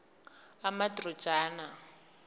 amadrojana